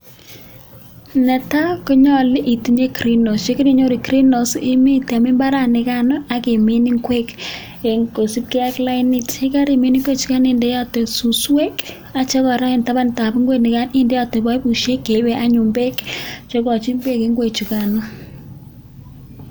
Netaa konyoluu itinyee greenhouse yekorinyoruu greenhouse ibiteem imbaran inikaan ak imin ingwek koisbkee ak lainit yekarimin ichukaan indeotee susweek ak tabandsab boibusheek chukaan indeotee cheibee anyun beek chekochiin beek ingwechukanoo